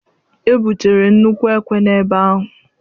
Ebutere nnukwu ekwe n'ebe ahụ.